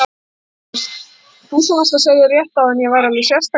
Þú sem varst að segja rétt áðan að ég væri alveg sérstakur.